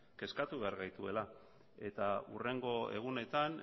kezkatu behar gaituela eta hurrengo egunetan